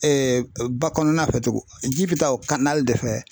ba kɔnɔna fɛ tugun ji bɛ taa o de fɛ.